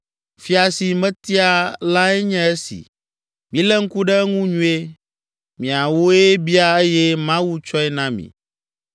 Fia si mietia lae nye esi, milé ŋku ɖe eŋu nyuie. Miawoe bia eye Mawu tsɔe na mi.